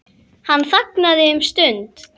Hann þagnaði um stund.